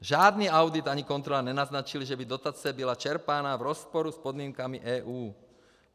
Žádný audit ani kontrola nenaznačily, že by dotace byla čerpána v rozporu s podmínkami EU.